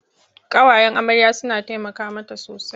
Ƙawayen amarya suna taimaka mata sosai.